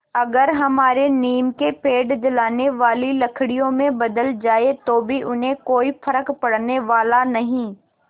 अगर हमारे नीम के पेड़ जलाने वाली लकड़ियों में बदल जाएँ तो भी उन्हें कोई फ़र्क पड़ने वाला नहीं